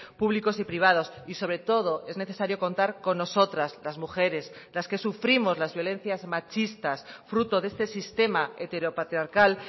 públicos y privados y sobre todo es necesario contar con nosotras las mujeres las que sufrimos las violencias machistas fruto de este sistema heteropatriarcal